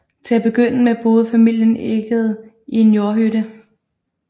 Til at begynde med boede familien Egede i en jordhytte